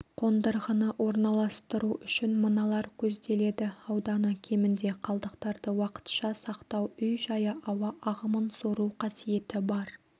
қондырғыны орналастыру үшін мыналар көзделеді ауданы кемінде қалдықтарды уақытша сақтау үй-жайы ауа ағымын сору қасиеті бар